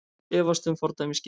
Efast um fordæmisgildið